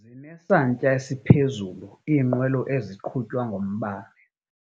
Zinesantya esiphezulu iinqwelo eziqhutywa ngombane.